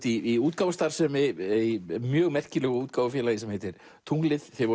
í útgáfustarfsemi í mjög merkilegu útgáfufélagi sem heitir tunglið þið